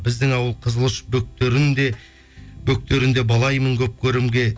біздің ауыл қызыл ұш бөктерінде бөктерін де балаймын көп көрімге